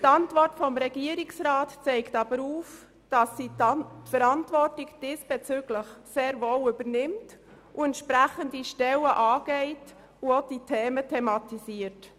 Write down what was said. Die Antwort des Regierungsrats zeigt aber auf, dass er die Verantwortung diesbezüglich sehr wohl übernimmt, entsprechende Stellen angeht und diese Fragen thematisiert.